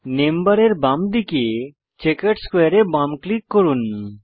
name বারের বাঁদিকে checkered স্কোয়ারে এ বাম ক্লিক করুন